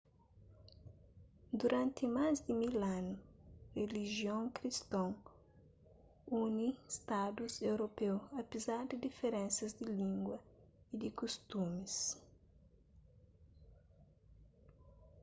duranti más di mil anu rilijion kriston uni stadus europeu apezar di diferensas di língua y di kustumis i